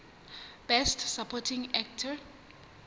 best supporting actor